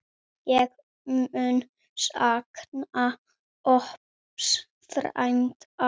Ég mun sakna Odds frænda.